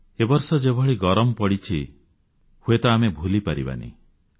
ଏ ବର୍ଷ ଯେଭଳି ଗରମ ପଡ଼ିଛି ହୁଏତ ଆମେ ଭୁଲିପାରିବା ନାହିଁ